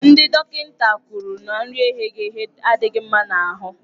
Ndị dọkịta kwuru na nri eghere eghe adịghị mma n'ahụ.